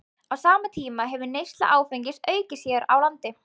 Á sama tíma hefur neysla áfengis aukist hér á landi.